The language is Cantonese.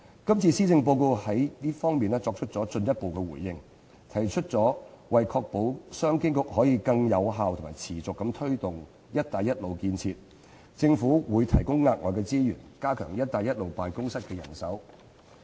今次施政報告就這方面作出進一步回應，提出為確保商務及經濟發展局可以更有效和持續地推展"一帶一路"建設的工作，政府會提供額外資源，加強"一帶一路"辦公室的人手。